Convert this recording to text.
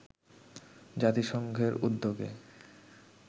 জাতিসংঘের উদ্যোগে